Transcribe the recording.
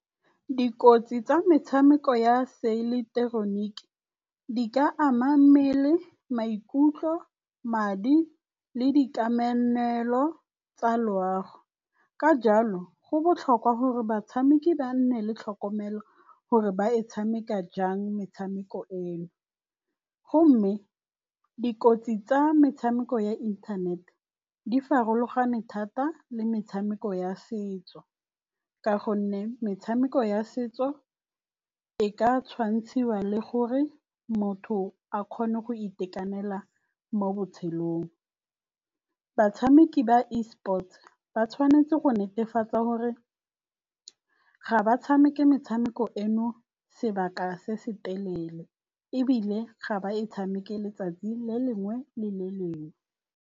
Dikotsi tsa metshameko ya se ileketeroniki di ka ama mmele, maikutlo, madi le di kamamelo tsa loago. Ka jalo go botlhokwa gore batshameki ba nne le tlhokomelo gore ba e tshameka jang metshameko eno. Gomme dikotsi tsa metshameko ya inthanete di farologane thata le metshameko ya setso ka gonne metshameko ya setso e ka tshwantshiwa le gore motho a kgone go itekanela mo botshelong. Batshameki ba Esports ba tshwanetse go netefatsa gore ga ba tshameke metshameko eno sebaka se se telele ebile ga ba e tshameke letsatsi le lengwe le le lengwe.